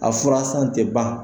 A fura san tɛ ban.